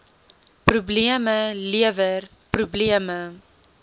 probleme lewer probleme